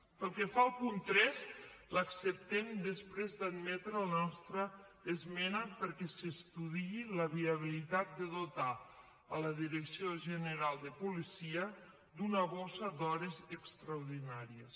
pel que fa al punt tres l’acceptem després d’admetre la nostra esmena perquè s’estudiï la viabilitat de dotar la direcció general de policia d’una borsa d’hores extraordinàries